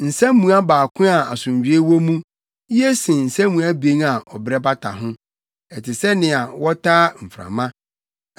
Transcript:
Nsammua baako a asomdwoe wɔ mu ye sen nsammua abien a ɔbrɛ bata ho; ɛte sɛ nea wotaa mframa.